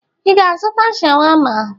Ị ga-azụta sháwámá?